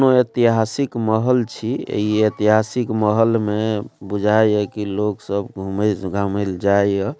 कूनू ऐतहासिक महल छी इ ऐतहासिक महल में बुझाय ये की लोग सब घूमे घामें ले जाय ये।